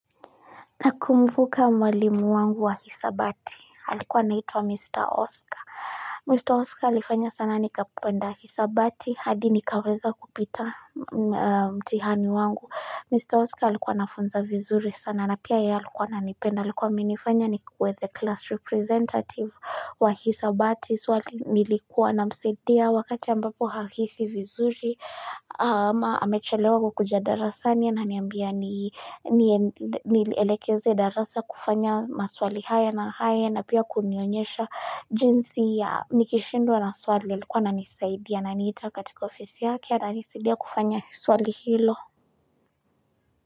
Na kumbuka mwalimu wangu wa hisabati halikuwa naituwa mr oscar mr oscar alifanya sana nikapenda hisabati hadi nikaweza kupita mtihani wangu mr oscar alikuwa nafunza vizuri sana na pia ya alikuwa nanipenda alikuwa minifanya ni kue the class representative wa hisabati suwa nilikuwa na msadia wakati ambapo hahisi vizuri ama amechelewa kukujadara sani ya na niambia ni niyelekeze darasa kufanya maswali haya na haya na pia kunionyesha jinsi ya nikishindwa na swali ya likuwa na nisaidia na niita katika ofisi ya kia na nisaidia kufanya swali hilo.